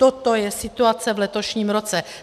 Toto je situace v letošním roce.